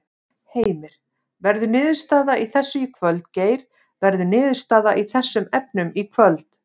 Heimir: Verður niðurstaða í þessu í kvöld Geir, verður niðurstaða í þessum efnum í kvöld?